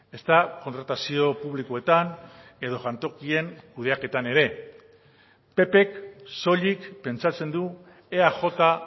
ezta kontratazio publikoetan edo jantokien kudeaketan ere ppk soilik pentsatzen du eaj